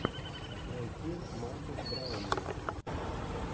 найти маркес браунли